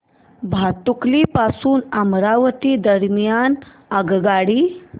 भातुकली पासून अमरावती दरम्यान आगगाडी